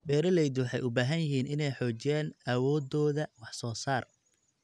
Beeraleydu waxay u baahan yihiin inay xoojiyaan awoodooda wax soo saar.